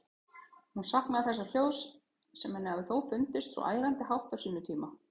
Hún saknaði þessa hljóðs, sem henni hafði þó fundist svo ærandi hátt á sínum tíma.